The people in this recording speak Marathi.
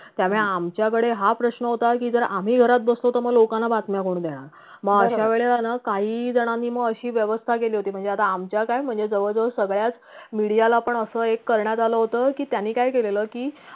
त्यामुळे आमच्याकडे हा प्रश्न होता की जर आम्ही घरात बसलो तर म लोकांना बातम्या कोण देणार मग अशा वेळेला ना काही जणांनी म अशी व्यवस्था केली होती म्हणजे आता आमच्या काय म्हणजे जवळ जवळ सगळ्याच media ला पण अस एक करण्यात आलं होत की त्यांनी काय केललं की